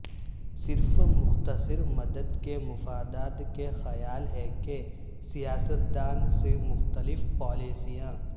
صرف مختصر مدت کے مفادات کا خیال ہے کہ سیاستدان سے مختلف پالیسیاں